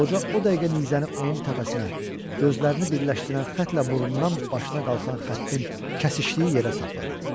Qoca o dəqiqə nizəni onun təpəsinə, gözlərini birləşdirən xəttlə burnundan başına qalxan xəttin kəsişdiyi yerə sapladı.